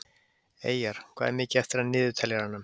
Eyjar, hvað er mikið eftir af niðurteljaranum?